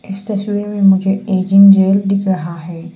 इस मुझे तस्वीर में मुझे एजिंग जेल दिख रहा है।